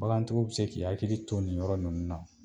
Bagantigiw bɛ se k'u hakili to ni yɔrɔ ninnu na